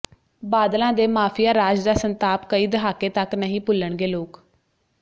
ਬਾਦਲਾਂ ਦੇ ਮਾਫ਼ੀਆ ਰਾਜ ਦਾ ਸੰਤਾਪ ਕਈ ਦਹਾਕੇ ਤੱਕ ਨਹੀਂ ਭੁੱਲਣਗੇ ਲੋਕ